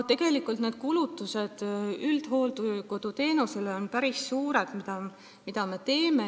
Tegelikult on need kulutused, mida me teeme üldhooldekoduteenusele, päris suured.